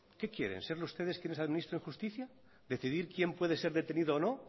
qué quieren ser ustedes quienes administren justicia decidir quién puede ser detenido o no